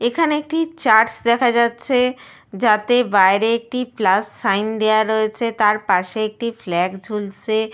দু-ধারে কিছু গাছপালা রয়েছে এবং নীল আকাশ দেখা যাচ্ছে।